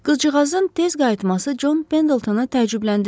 Qızcığazın tez qayıtması Con Pendletona təəccübləndirdi.